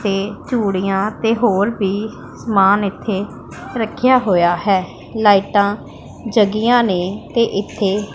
ਤੇ ਚੂੜੀਆਂ ਤੇ ਹੋਰ ਵੀ ਸਮਾਨ ਇੱਥੇ ਰੱਖਿਆ ਹੋਇਆ ਹੈ ਲਾਈਟਾਂ ਜੱਗੀਆਂ ਨੇ ਤੇ ਇੱਥੇ--